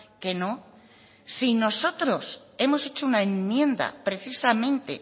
que no si nosotros hemos hecho una enmienda precisamente